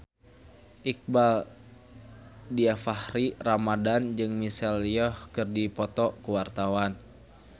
Iqbaal Dhiafakhri Ramadhan jeung Michelle Yeoh keur dipoto ku wartawan